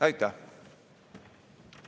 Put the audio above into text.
Aitäh!